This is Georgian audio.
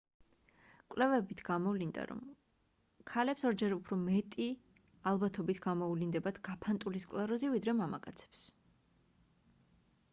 კვლევებმ გამოვლინდა რომ ქალებს ორჯერ უფრო მეტი ალბათობით გამოუვლინდებათ გაფანტული სკლეროზი ვიდრე მამაკაცებს